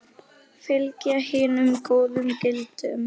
Fylgja hinum góðu gildum.